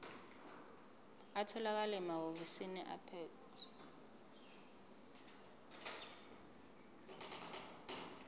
atholakala emahhovisi abaphethe